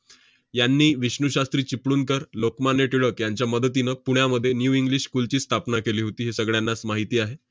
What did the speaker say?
यांनी विष्णू शास्त्री चिपळूणकर, लोकमान्य टिळक यांच्या मदतीनं पुण्यामध्ये new english school ची स्थापना केली होती, हे सगळ्यांनाच माहिती आहे.